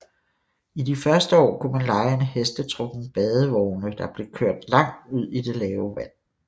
I de første år kunne man leje en hestetrukken badevogne der blev kørt langt ud i det lave vand